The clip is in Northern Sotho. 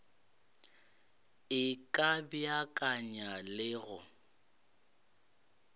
e ka beakanya le go